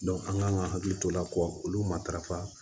an kan ka hakili to o la olu matarafa